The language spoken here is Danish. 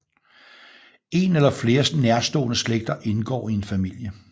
En eller flere nærstående slægter indgår i en familie